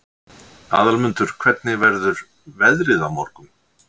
Aðalmundur, hvernig verður veðrið á morgun?